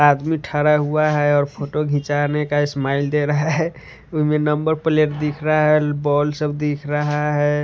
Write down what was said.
आदमी ठहरा हुआ है और फोटो खिंचाने का स्माइल दे रहा है उसमें नंबर प्लेट दिख रहा है बॉल सब दिख रहा है।